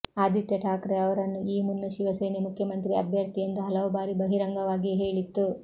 ಆದಿತ್ಯ ಠಾಕ್ರೆ ಅವರನ್ನು ಈ ಮುನ್ನ ಶಿವಸೇನೆ ಮುಖ್ಯಮಂತ್ರಿ ಅಭ್ಯರ್ಥಿ ಎಂದು ಹಲವು ಬಾರಿ ಬಹಿರಂಗವಾಗಿಯೇ ಹೇಳಿತ್ತು